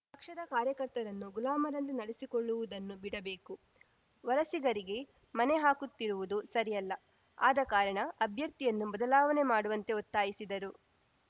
ಪಕ್ಷದ ಕಾರ್ಯಕರ್ತರನ್ನು ಗುಲಾಮರಂತೆ ನಡೆಸಿಕೊಳ್ಳುವುದನ್ನು ಬಿಡಬೇಕು ವಲಸಿಗರಿಗೆ ಮಣೆ ಹಾಕುತ್ತಿರುವುದು ಸರಿಯಲ್ಲ ಆದ ಕಾರಣ ಅಭ್ಯರ್ಥಿಯನ್ನು ಬದಲಾವಣೆ ಮಾಡುವಂತೆ ಒತ್ತಾಯಿಸಿದರು